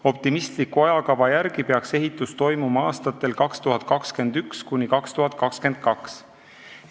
Optimistliku ajakava järgi peaks ehitus toimuma aastatel 2021–2022.